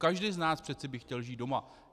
Každý z nás přece by chtěl žít doma.